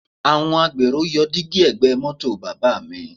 Àwọn agbèrò yọ dígí ẹ̀gbẹ́ mọ́tò bàbá mi